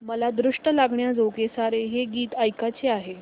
मला दृष्ट लागण्याजोगे सारे हे गीत ऐकायचे आहे